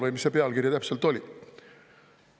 Või mis see pealkiri täpselt oli?